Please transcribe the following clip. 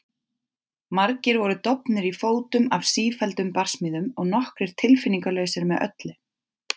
Margir voru dofnir í fótum af sífelldum barsmíðum og nokkrir tilfinningalausir með öllu.